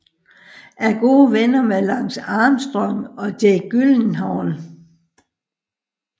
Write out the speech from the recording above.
Er gode venner med Lance Armstrong og Jake Gyllenhaal